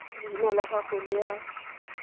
leina la gago le a